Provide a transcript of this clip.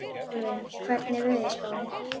Dalvin, hvernig er veðurspáin?